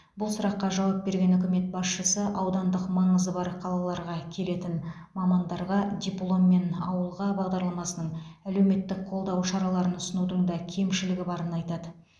бұл сұраққа жауап берген үкімет басшысы аудандық маңызы бар қалаларға келетін мамандарға дипломмен ауылға бағдарламасының әлеуметтік қолдау шараларын ұсынудың да кемшілігі барын айтады